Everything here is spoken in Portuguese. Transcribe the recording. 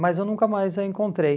Mas eu nunca mais a encontrei.